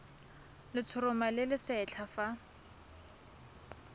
letshoroma le le setlha fa